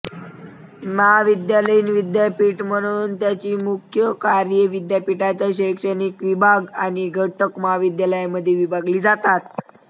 महाविद्यालयीन विद्यापीठ म्हणून त्याची मुख्य कार्ये विद्यापीठाच्या शैक्षणिक विभाग आणि घटक महाविद्यालयांमध्ये विभागली जातात